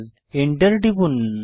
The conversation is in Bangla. Enter টিপুন